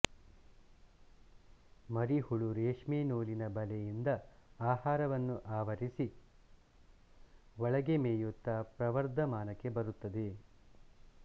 ಮರಿಹುಳು ರೇಷ್ಮೆನೂಲಿನ ಬಲೆಯಿಂದ ಆಹಾರವನ್ನು ಆವರಿಸಿ ಒಳಗೆ ಮೇಯುತ್ತಾ ಪ್ರವರ್ಧಮಾನಕ್ಕೆ ಬರುತ್ತದೆ